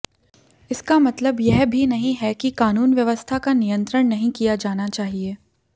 इसका मतलब यह भी नहीं है कि क़ानून व्यवस्था का नियंत्रण नहीं किया जाना चाहिए